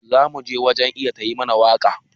Za mu je wajen Iya ta yi mana waka.